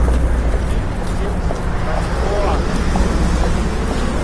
купить семьдесят бальбоа стоимость